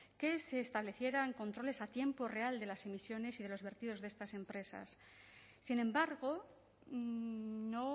que se establecieran controles a tiempo real de las emisiones y de los vertidos de estas empresas sin embargo no